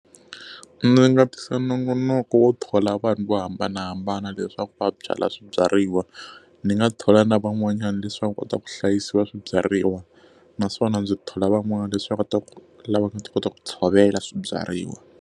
Ndzi nga tisa nongonoko wo thola vanhu vo hambanahambana leswaku va byala swibyariwa. Ni nga thola na van'wanyana leswaku va nga kota ku hlayisiwa swibyariwa, naswona ndzi thola van'wana leswaku va kota ku lava nga ta kota ku tshovela swibyariwa.